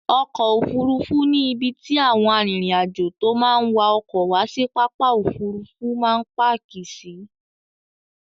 Ọkọ̀ Òfurufú ni ibi tí àwọn arìnrìn-àjò tó máa ń wa ọkọ̀ wá sí pápá Òfurufú máa ń páàkì sí.